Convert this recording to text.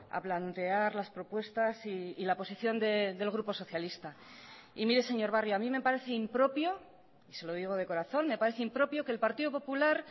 a plantear las propuestas y la posición del grupo socialista y mire señor barrio a mí me parece impropio y se lo digo de corazón me parece impropio que el partido popular